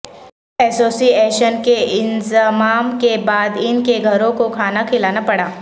ایسوسی ایشن کے انضمام کے بعد ان کے گھروں کو کھانا کھلانا پڑا